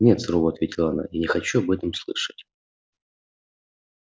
нет сурово ответила она я не хочу об этом слышать